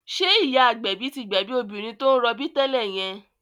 Ṣé ìyá agbẹ̀bí tí gbẹ̀bí obìnrin tó ń rọbí tẹ́lẹ̀ yẹn?